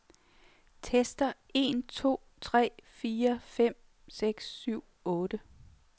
Tester en to tre fire fem seks syv otte.